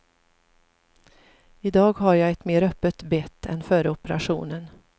I dag har jag ett mer öppet bett än före operationen.